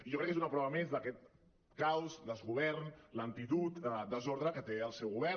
i jo crec que és una prova més d’aquest caos desgovern lentitud desordre que té el seu govern